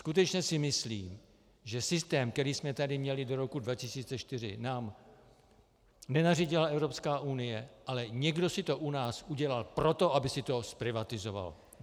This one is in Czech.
Skutečně si myslím, že systém, který jsme tady měli do roku 2004, nám nenařídila Evropská unie, ale někdo si to u nás udělal proto, aby se to zprivatizovalo.